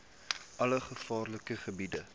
alle gevaarlike gebiede